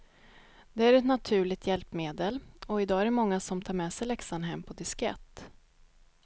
Det är ett naturligt hjälpmedel och i dag är det många som tar med sig läxan hem på diskett.